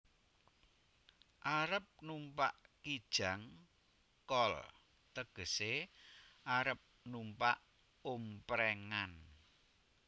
Arep numpak Kijang kol tegesé arep numpak omprèngan